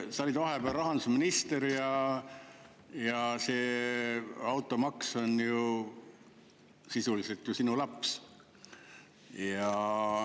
Sa olid vahepeal rahandusminister ja see automaks on ju sisuliselt sinu laps.